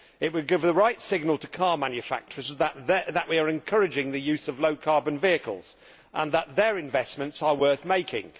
It would give the right signal to car manufacturers that we are encouraging the use of low carbon vehicles and that their investments are worth making.